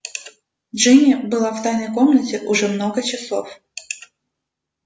джинни была в тайной комнате уже много часов